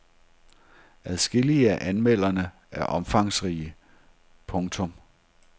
Adskillige af anmeldelserne er omfangsrige. punktum